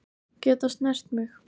Geta snert mig.